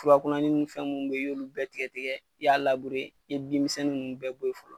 Furakunanin ni fɛn mun bɛ ye i y'olu bɛɛ tigɛ tigɛ i y'a i ye bin misɛn ninnu bɛɛ bɔ ye fɔlɔ.